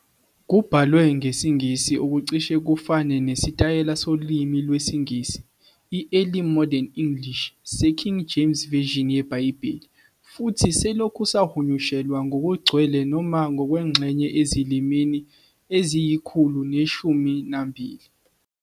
Kubhalwe ngesiNgisi okucishe kufane nesitayela solimi lwesiNgisi i-Early Modern English seKing James Version yeBhayibheli, futhi selokhu sahunyushelwa ngokugcwele noma ngokwengxenye ezilimini eziyi-112.